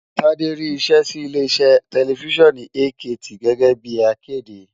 Tádé rí iṣẹ́ sí ilé iṣẹ́ tẹlifísàn AKT gẹ́gẹ́ bíi akéde